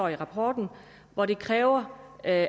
i rapporten hvor det kræver at